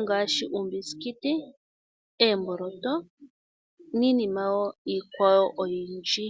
ngaashi uumbusikiti, oomboloto niinima woo iikwawo oyindji.